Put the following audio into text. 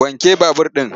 Wanke babur ɗin!